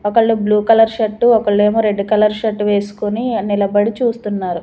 ఒకళ్ళు blue colour shirt ఒకళ్ళేమో red colour shirt వేస్కొని నిలబడి చూస్తున్నారు.